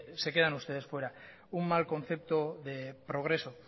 se quedan ustedes fuera un mal concepto de progreso